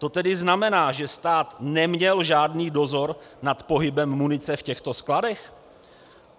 To tedy znamená, že stát neměl žádný dozor nad pohybem munice v těchto skladech?